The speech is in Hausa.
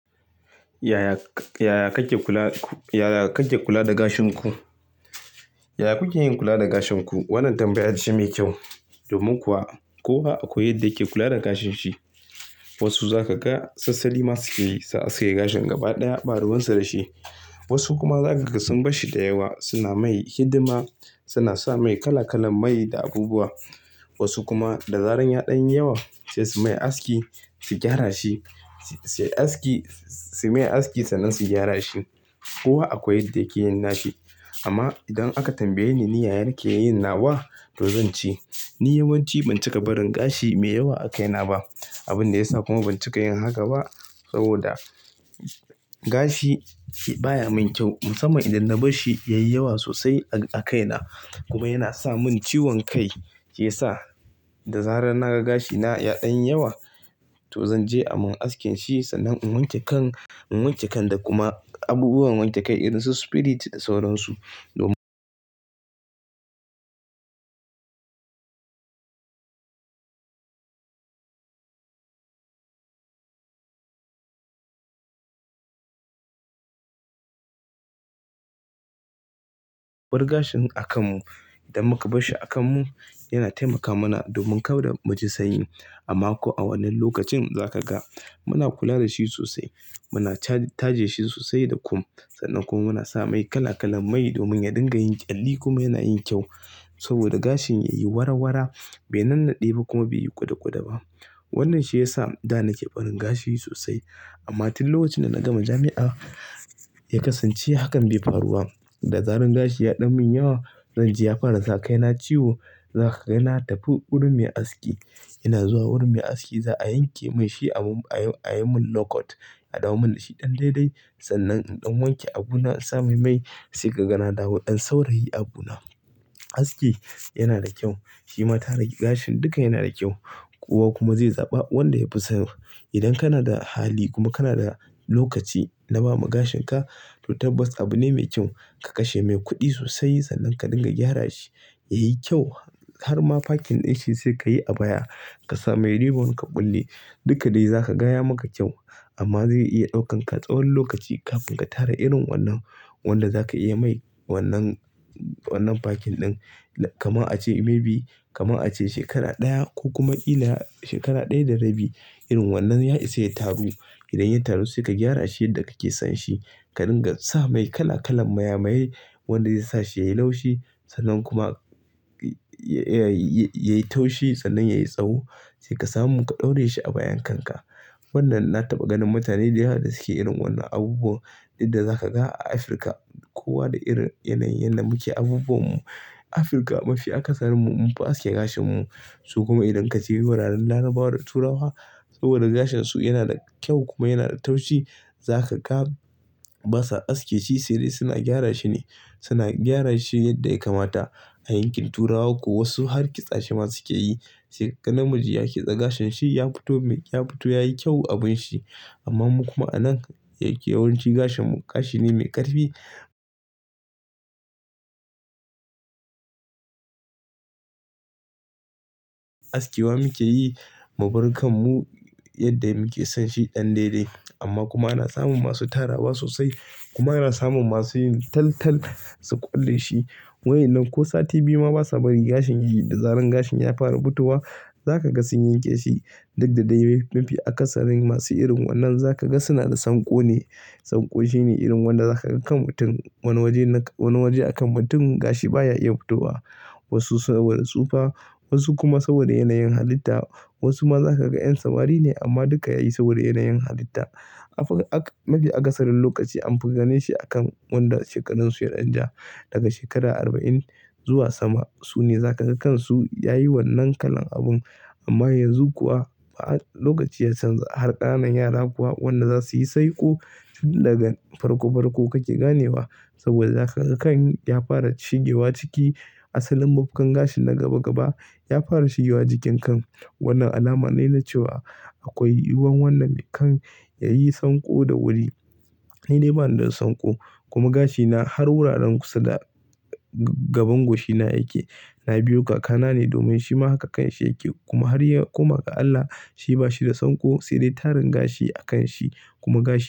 Yaya kake ku--yaya kake kula da gashin ku? Yaya kuke yin kula da gashin ku? Wannan tambaya ce mai kyau. Domin kuwa kowa akwai yadda yake kula da gashin shi. Wasu za ka ga sassali ma suke yi, su aske gashin gaba ɗaya, ɓaruwansu da shi. Wasu kuma za ka ga sun bar shi da yawa, suna mai hidima, suna sa mai kala-kalan mai da abubuwa. Wasu kuma da zaran ya ɗan yi yawa sai su mai aski, su gyara shi. Suyi aski-- suyi mai aski sannan su gyara shi. Kowa akwai yadda yake yin nashi. Amma idan aka tambaye ni ni yaya nakeyin nawa, to zan ce. Ni yawanci ban cika barin gashi mai yawa a kaina ba. Abun da ya sa kuma ban cika yin haka ba saboda gashi baya min kyau. Musamman idan na bar shi ya yi yawa sosai a--a kaina kuma yana sa mun ciwon kai. Shi ya sa da zarar naga gashi na ya ɗan yi yawa to zan je a mun askin shi sannan in wanke kan--in wanke kan da kuma abubuwan wanke kai irin su spirit da sauran su. Domin mu bar gashin a kan mu idan muka bar shi a kan mu yana taimaka mana domin kauda mu ji sanyi. Amma ko a wannan lokacin za ka ga muna kula da shi sosai. Muna ta taje shi sosai da kum. Sannan kuma muna sa mai kala-kalan mai domin ya dinga yin ƙyalli kuma yana yin kyau. Saboda gashin ya yi wara-wara bai nannade ba kuma bai yi kuɗa-kuɗa ba. Wannan shi ya sa da nake barin gashi sosai. Amma tun lokacin da na gama jami'a ya kasance hakan bai faru wa. Da zaran gashi ya ɗan mun yawa zan ji ya fara sa kaina ciwo. Za ka ga na tafi wurin mai aski. Ina zuwa wurin mai aski za a yanke min shi a mun--a yi--ayi mun low cut, a dawo min da shi ɗan daidai sannan in ɗan wanke abu na, in sa mai mai sai ka ga na dawo ɗan saurayi abu na. Aski yana da kyau. Shi ma ta rage gashin duka yana da kyau. Kowa kuma zai zaɓa wanda ya fi so. Idan kana da hali kuma kana da lokaci na bama gashin ka to tabbas abu ne mai kyau. Ka kashe mai kuɗi sosai sannan ka dinga gyara shi, ya yi kyau. Har ma fakin ɗin shi sai ka yi a baya. Ka sa mai ribbon ka kulle duka dai za kaga ya maka kyau amma zai iya ɗaukan ka tsawon lokaci kafin ka tara irin wannan wanda za ka iya mai wannan--wannan fakin ɗin. Kaman a ce maybe, kama a ce shekara ɗaya ko kuma kila shekara ɗaya da rabi. Irin wannan ya isa ya taru. Idan ya taru sai ka gyara shi yadda kake son shi. Ka ringa sa mai kala-kalan maya-mayai wanda zai sa shi ya yi laushi. Sannan kuma ya yi taushi sannan ya yi tsawo sai ka samu ka ɗaure shi a bayan kan ka. Wannan na taɓa ganin mutane da yawa da suke irin wannan abubuwan duk da za ka ga a Afirka. Kowa da irin yanayin da muke abubuwan mu. Afirka mafi a kasar mu munfi aske gashin mu. Su kuma idan ka je wuraren larabawa da turawa saboda gashin su yana da kyau kuma yana da taushi. Za ka ga basa aske shi sai dai suna gyara shi ne. Suna gyara shi yadda ya kamata, a yankin turawa ko wasu harkisa shi ma suke yi. Sai ka ga namiji ya ki sa gashin shi ya fito mai--ya fito yayi kyau abun shi. Amman mu kuma a nan da yake yawanci gashin mu gashi ne mai ƙarfi. Aske wa muke yi mu bar kam mu yadda muke son shi ɗan daidai. Amma kuma ana samun masu tarawa sosai kuma ana samun masu yin tal-tal su ƙulle shi. Wayan nan ko sati biyu ma basa bari gashin yayi da zaran gashin ya fara fitowa za ka ga sun yanke shi. Duk da dai mafi akasarin masu irin wannan za ka ga suna da sanko ne. Sanko shine irin wanda za ka ga kan mutum wani waje na--wani waje a kan mutum gashi baya iya fitowa. Wasu saboda tsufa wasu kuma saboda yanayin halitta. Wasu ma za ka ga 'yan samari ne amma duka yayi saboda yanayin halitta. Afur'ak mafi akasarin lokaci anfi ganin shi akan wanda shekarun su ya ɗan ja. Daga shekara arba'in zuwa sama su ne za ka ga kansu yayi wannan kalan abun. Amma yanzu kuwa lokaci ya canza har ƙananan yara kuwa wanda za su yi saiƙo daga farko-farko kake ganewa saboda za kaga kan ya fara shigewa ciki. Asalin mafukan gashin na gaba-gaba ya fara shigewa jikin kan. Wannan alama ne na cewa akwai yiwuwan wannan kan ya yi sanko da wuri. Ni dai bani da sanko kuma gashi na har wuraren kusa da gaban goshi na yake na biyo kaka na ne domin shi ma haka kanshi yake. Kuma har ya koma ga Allah shi bashi da sanko sai dai tarin gashi a kan shi kuma gashi.